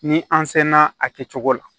Ni an sela a kɛcogo la